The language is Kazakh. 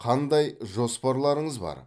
қандай жоспарларыңыз бар